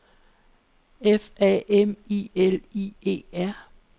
F A M I L I E R